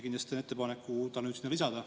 Kindlasti teen ettepaneku ta nüüd sinna lisada.